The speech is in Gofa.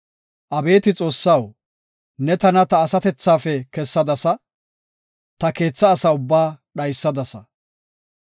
Abeeti Xoossaw, ne tana ta asatethafe kessadasa; ta keethaa asa ubbaa dhaysadasa.